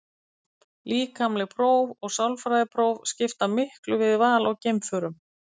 Líkamleg próf og sálfræðipróf skipta miklu við val á geimförum.